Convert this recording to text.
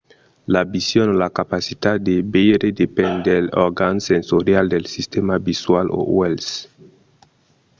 la vision o la capacitat de veire depend dels organs sensorials del sistèma visual o uèlhs